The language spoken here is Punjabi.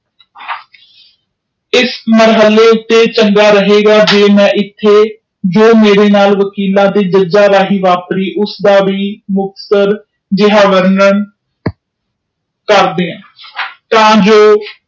ਇਸ ਮਹਲ ਉਤੇ ਚੰਗਾ ਰਾਹੇਫ਼ਗਾ ਕਿ ਇੱਥੇ ਉਹ ਮੇਰੇ ਨਾਲ ਗਵਰਨਰ ਕਰਦੇ ਤਾ ਜੋ